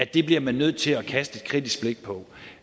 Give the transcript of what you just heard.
det bliver man nødt til at kaste et kritisk blik på